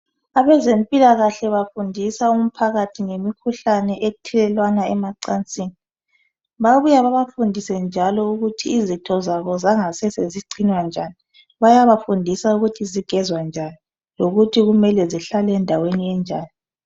Abezempilakahle bafundisa umphakathi ngemikhuhlane ethelelwana emacansini. Babuya babafundise njalo ukuthi izitho zabo mangasese zigcinwa njani, bayabafundisa ukuthi zigezwa njani lokuthi kumele zihlale endaweni enjani.